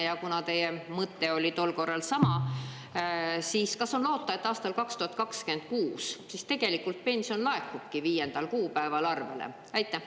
Ja kuna teie mõte oli tol korral sama, siis kas on loota, et aastal 2026 tegelikult pension laekubki viiendal kuupäeval arvele?